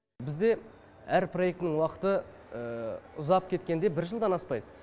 ұзап кеткенде бір жылдан аспайды